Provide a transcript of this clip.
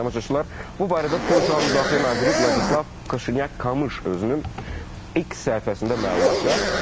Əziz tamaşaçılar, bu barədə Polşa Müdafiə naziri Vladislav Kaşinyak Kamış özünün X səhifəsində məlumat yayıb.